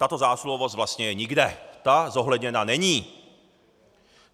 Tato zásluhovost vlastně je nikde, ta zohledněna není!